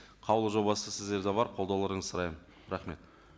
қаулы жобасы сіздерде бар қолдауларыңызды сұраймын рахмет